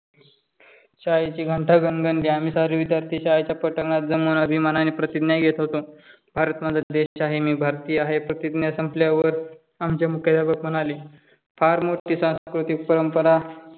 शाळेची घंटा घणघणली. आम्ही सारे सारे विद्यार्थी शाळेच्या पटांगणात जमुन अभिमानाने प्रतिज्ञा घेत होतो. भारत माझा देश आहे. मी भारतीय आहे. प्रतिज्ञा संपल्यावर आमचे मुख्याध्यापक म्हणाले, फार मोठी सांस्कृतिक परंपरा